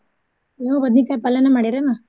ನೀವೂ ಬಾದ್ನೀಕಾಯ್ ಪಲ್ಲೇನ ಮಾಡಿರ್ ಏನ.